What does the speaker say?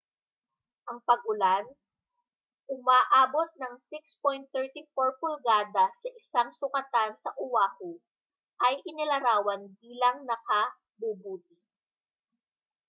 ang pag-ulan umaabot ng 6.34 pulgada sa isang sukatan sa oahu ay inilarawan bilang nakabubuti